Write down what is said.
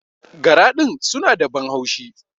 Gara din suna da ban haushi.